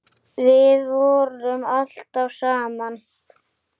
Við vorum alltaf saman.